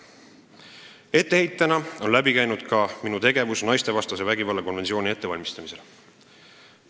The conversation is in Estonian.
On läbi käinud ka etteheide minu tegevuse kohta naistevastase vägivalla ennetamise ja tõkestamise konventsiooni ratifitseerimise ettevalmistamisel.